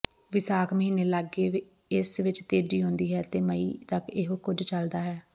ਵਿਸਾਖ ਮਹੀਨੇ ਲਾਗੇ ਇਸ ਵਿਚ ਤੇਜ਼ੀ ਆਉਂਦੀ ਹੈ ਤੇ ਮਈ ਤਕ ਇਹੋ ਕੁਝ ਚੱਲਦਾ ਹੈ